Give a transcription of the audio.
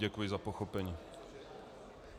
Děkuji za pochopení.